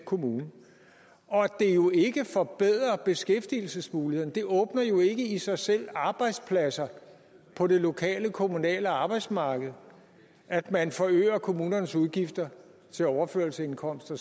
kommune og at det jo ikke forbedrer beskæftigelsesmulighederne det åbner jo ikke i sig selv arbejdspladser på det lokale kommunale arbejdsmarked at man forøger kommunernes udgifter til overførselsindkomster